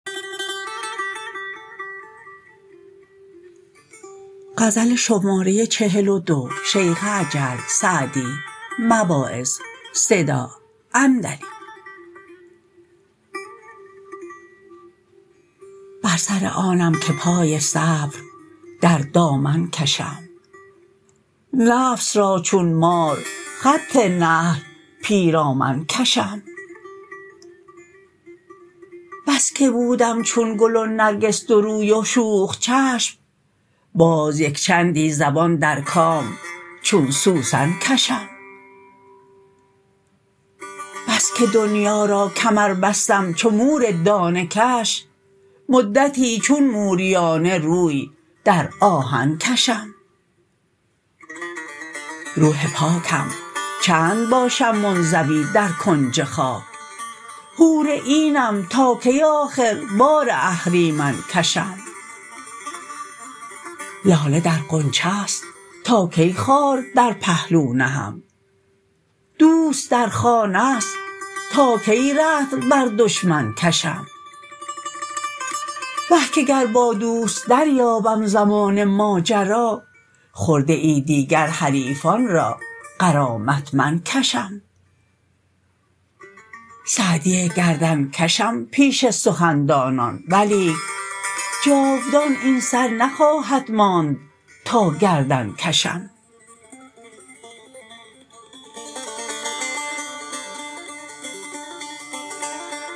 بر سر آنم که پای صبر در دامن کشم نفس را چون مار خط نهی پیرامن کشم بس که بودم چون گل و نرگس دو روی و شوخ چشم باز یکچندی زبان در کام چون سوسن کشم بس که دنیا را کمر بستم چو مور دانه کش مدتی چون موریانه روی در آهن کشم روح پاکم چند باشم منزوی در کنج خاک حور عینم تا کی آخر بار اهریمن کشم لاله در غنچه ست تا کی خار در پهلو نهم دوست در خانه ست تا کی رطل بر دشمن کشم وه که گر با دوست دریابم زمان ماجرا خرده ای دیگر حریفان را غرامت من کشم سعدی گردن کشم پیش سخن دانان ولیک جاودان این سر نخواهد ماند تا گردن کشم